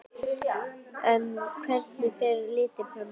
En hvernig fer leitin fram að hundunum?